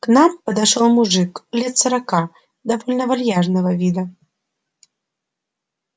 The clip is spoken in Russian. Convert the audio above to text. к нам подошёл мужик лет сорока довольно вальяжного вида